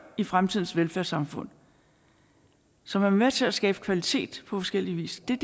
i fremtidens velfærdssamfund som er med til at skabe kvalitet forskellig vis det er